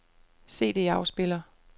CD-afspiller